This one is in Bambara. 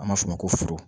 An b'a f'o ma ko foro